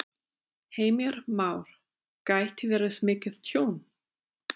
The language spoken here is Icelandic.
Heimir Már: Gæti verið mikið tjón?